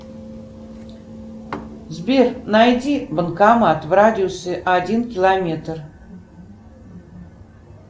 сбер найди банкомат в радиусе один километр